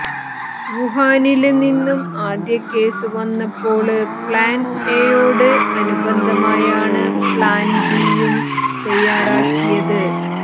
വുഹാനില് നിന്നും ആദ്യ കേസ് വന്നപ്പോള് പ്ലാന് എയോട് അനുബന്ധമായാണ് പ്ലാന് ബിയും തയാറാക്കിയത്